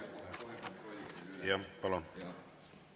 Ma kohe kontrollin üle.